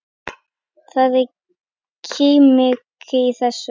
Það er kómíkin í þessu.